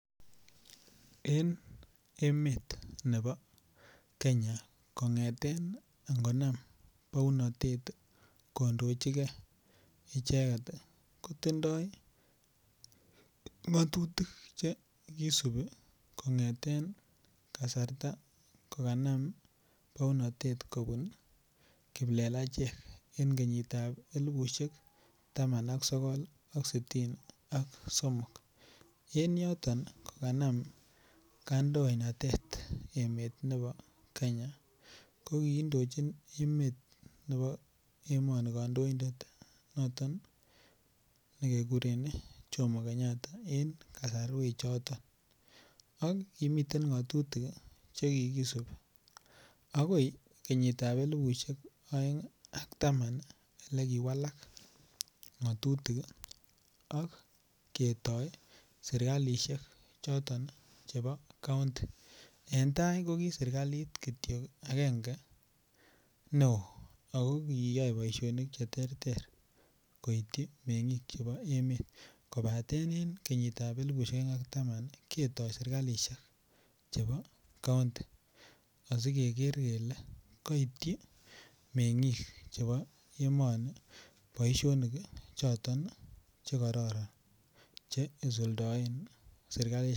En emet nebo Kenya kongeten inkonam bounotet kondochigee icheket kotindoi ngotutik chekisibi kongeten kasarta kokanam bounotet kobun kiplelachek en kenyitab elibushek tama ak sokol ak sitini ak somok , en yoton ko kanam kandoinatet emet nebon Kenya ko kidochin emet nebo emoni kondoindet noton nekekuren Jomo Kenyatta en kosorwek choton ak kimiten ngotu6 chekikisibi akoi kenyitab elibushek oeng ak taman ole kewala ngotutik sk ketik sirkaishek choton chebo county en tai ko ki sirkalit kityok agenge neo ako kiyai boishonik cheterter koityi mengik chebo emet kobaten en kenyitab elibushek oeng ak taman nii keto sirkaishek chebo county koityi mengin chebo emeini boishoni choto chekororon che isuldoen sirkalit.